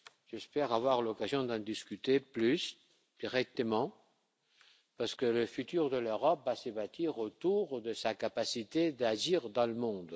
J'espère avoir l'occasion d'en discuter davantage et directement parce que le futur de l'Europe va se bâtir autour de sa capacité à agir dans le monde.